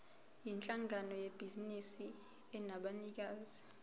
yinhlangano yebhizinisi enabanikazi